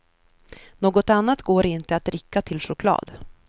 Något annat går inte att dricka till choklad.